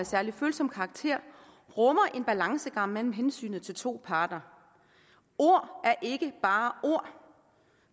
særlig følsom karakter rummer en balancegang mellem hensynet til to parter ord er ikke bare ord